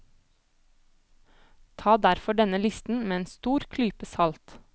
Ta derfor denne listen med en stor klype salt.